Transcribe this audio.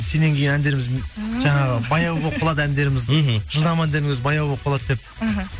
сеннен кейін әндеріміз жаңағы баяу болып қалады әндеріміз мхм жылдам әндеріміз баяу болып қалады деп іхі